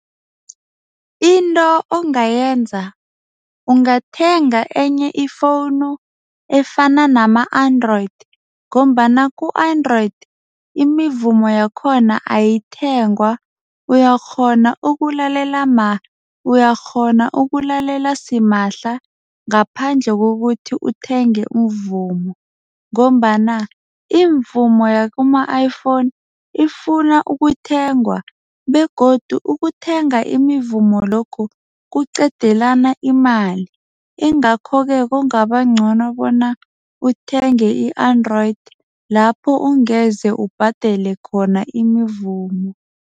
Into ongayenza ungathenga enye ifowunu efana nama-Android ngombana ku-Android imivumo yakhona ayithengwa uyakghona ukulalela uyakghona ukulalela simahla ngaphandle kokuthi uthenge umvumo. Ngombana iimvumo yakuma-iPhone ifuna ukuthengwa begodu ukuthenga imivumo lokhu kuqedelana imali. Ingakho-ke kungaba ngcono bona uthenge i-Android lapho ungeze ubhadele khona imivumo.